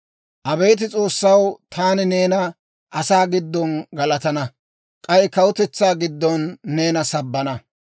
Abeet S'oossaw, taani neena asaa giddon galatana; k'ay kawutetsaa giddon neena sabbana.